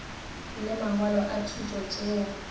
le mangwalo a thuto tšeo